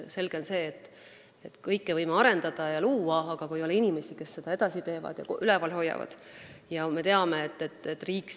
Selge on see, et me võime kõike arendada ja luua, aga kui ei ole inimesi, kes seda edasi teevad ja üleval hoiavad, siis ei sünni midagi.